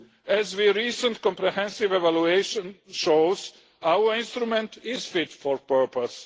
As the recent comprehensive evaluation shows, our instrument is fit for purpose.